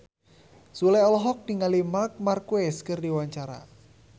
Sule olohok ningali Marc Marquez keur diwawancara